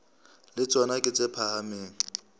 le tsona ke tse phahameng